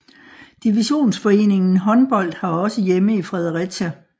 Divisionsforeningen Håndbold har også hjemme i Fredericia